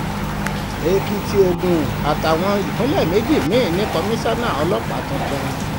èkìtì ogun àtàwọn ìpínlẹ̀ méjì mí-ín ní kọmísánná ọlọ́pàá tuntun